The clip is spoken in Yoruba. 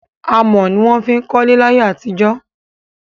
Amọ̀ ní wọn ń fí kọlé láyé àtijọ́.